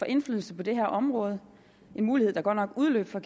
indflydelse på det her område en mulighed der godt nok udløb for